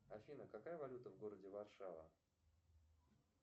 афина какая валюта в городе варшава